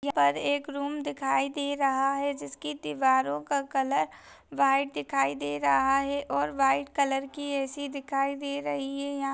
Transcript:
यह पर एक रूम दिखाई दे रहा है जिस की दीवारों का कलर व्हाइट दिखाई दे रहा है और व्हाइट कलर की ए.सी. दिखाई दे रही है यहाँ।